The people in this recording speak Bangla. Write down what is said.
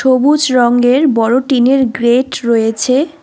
সবুজ রঙ্গের বড়ো টিনের গ্রেট রয়েছে।